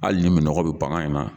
Hali ni miɔgɔ bɛ bagan in na